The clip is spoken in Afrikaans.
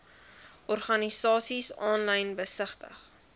organisasies aanlyn besigtig